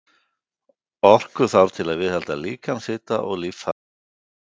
Orku þarf til að viðhalda líkamshita og líffærastarfi.